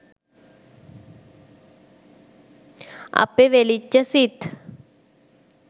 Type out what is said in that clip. අපෙ වෙලිච්ච සිත්